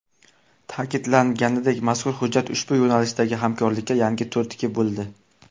Ta’kidlanganidek, mazkur hujjat ushbu yo‘nalishdagi hamkorlikka yangi turtki bo‘ldi.